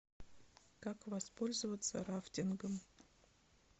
как воспользоваться рафтингом